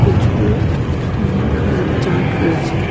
পেছনে একটি নীল কালারের চার্ট রয়েছে.